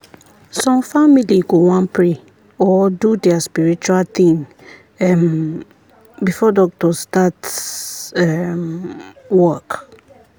some family go wan pray or do their spiritual thing um before doctor start um work.